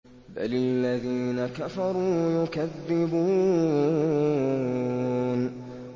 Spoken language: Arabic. بَلِ الَّذِينَ كَفَرُوا يُكَذِّبُونَ